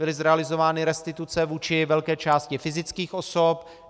Byly zrealizovány restituce vůči velké části fyzických osob.